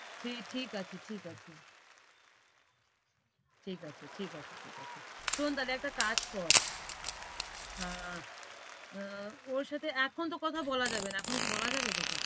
সেই ঠিক আছে ঠিক আছে ঠিক আছে ঠিক আছে ঠিক আছে, শোন তাহলে একটা কাজ কর হম আহ ওর সাথে এখন তো কথা বলা যাবে না, এখন কি বলা যাবে কথা?